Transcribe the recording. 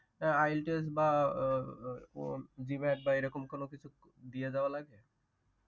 IELTS বা আহ বা এরকম কোনো কিছু দিয়ে দেওয়া লাগে।